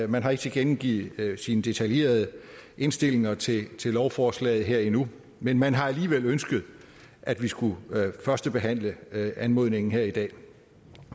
man har ikke tilkendegivet sine detaljerede indstillinger til til lovforslaget her endnu men man har alligevel ønsket at vi skulle førstebehandle anmodningen her i dag